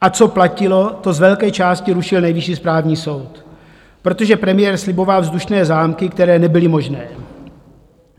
A co platilo, to z velké části rušil Nejvyšší správní soud, protože premiér sliboval vzdušné zámky, které nebyly možné.